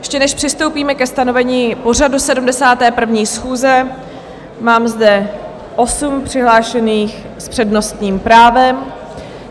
Ještě než přistoupíme ke stanovení pořadu 71. schůze, mám zde osm přihlášených s přednostním právem.